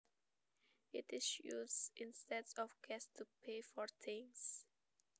It is used instead of cash to pay for things